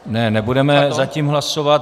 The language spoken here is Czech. Ne, nebudeme zatím hlasovat.